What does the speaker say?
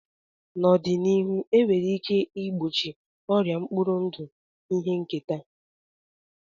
N'ọdịnihu, e nwere ike igbochi ọrịa mkpụrụ ndụ ihe nketa.